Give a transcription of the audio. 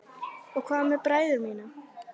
Og hvað með bræður mína?